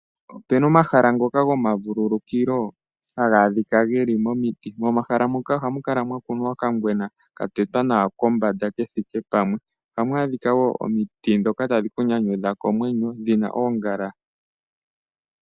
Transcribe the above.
Opena omahala ngoka gomavululukilo haga adhika geli momiti. Momahala moka ohamu kala mwa kunwa okangwena ka tetwa nawa kombanda kethike pamwe. Ohamu adhika wo omiti ndhoka tadhi kunyanyudha komwenyo dhina oongala.